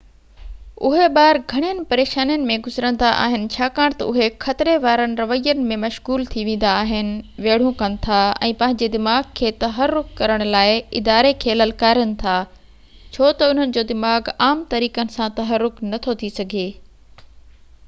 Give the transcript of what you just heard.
اهي ٻار گهڻين پريشانين ۾ گذرندا آهن ڇاڪاڻ تہ اهي خطري وارن روين ۾ مشغول ٿي ويندا آهن ويڙهون ڪن ٿا ۽ پنهنجي دماغ کي تحرڪ ڪرڻ لاءِ اداري کي للڪارين ٿا ڇو تہ انهن جو دماغ عام طريقن سان تحرڪ نٿو ٿي سگهي